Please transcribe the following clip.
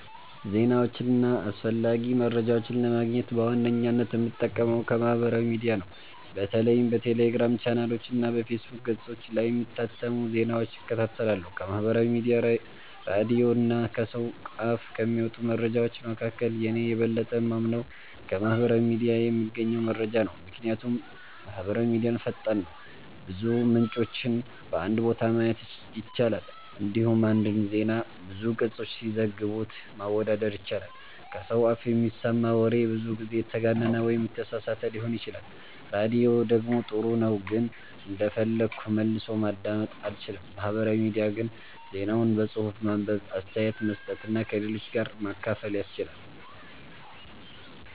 ዜናዎችን እና አስፈላጊ መረጃዎችን ለማግኘት በዋነኝነት የምጠቀመው ከማህበራዊ ሚዲያ ነው። በተለይም በቴሌግራም ቻናሎች እና በፌስቡክ ገጾች ላይ የሚታተሙ ዜናዎችን እከታተላለሁ። ከማህበራዊ ሚዲያ፣ ራዲዮ እና ከሰው አፍ ከሚመጡ መረጃዎች መካከል፣ እኔ የበለጠ የማምነው ከማህበራዊ ሚዲያ የምገኘውን መረጃ ነው። ምክንያቱም ማህበራዊ ሚዲያ ፈጣን ነው፣ ብዙ ምንጮችን በአንድ ቦታ ማየት ይቻላል፣ እንዲሁም አንድን ዜና ብዙ ገጾች ሲዘግቡት ማወዳደር ይቻላል። ከሰው አፍ የሚሰማ ወሬ ብዙ ጊዜ የተጋነነ ወይም የተሳሳተ ሊሆን ይችላል። ራዲዮ ደግሞ ጥሩ ነው ግን እንደፈለግኩ መልሶ ማዳመጥ አልችልም። ማህበራዊ ሚዲያ ግን ዜናውን በጽሁፍ ማንበብ፣ አስተያየት መስጠት እና ከሌሎች ጋር ማካፈል ያስችላል።